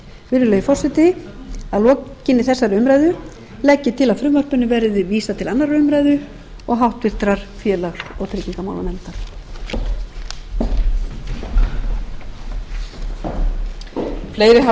virðulegi forseti að lokinni þessari umræðu legg ég til að frumvarpinu verði vísað til annarrar umræðu og háttvirtur félags og tryggingamálanefndar